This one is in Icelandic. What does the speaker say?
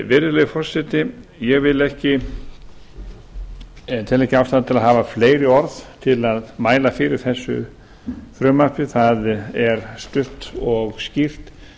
virðulegi forseti ég tel ekki ástæðu að hafa fleiri orð til að mæla fyrir þessu frumvarpi það er stutt og skýrt